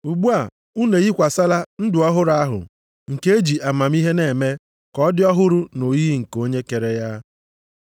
Ugbu a, unu eyikwasịla ndụ ọhụrụ ahụ, nke e ji amamihe na-eme ka ọ dị ọhụrụ nʼoyiyi nke onye kere ya.